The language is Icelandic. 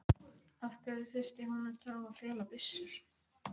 Af hverju þurfti hún þá að fela byssur?